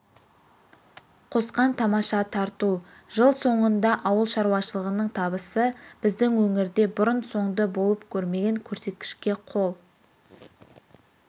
қосқан тамаша тарту жыл соңында ауыл шаруашылығының табысы біздің өңірде бұрын-соңды болып көрмеген көрсеткішке қол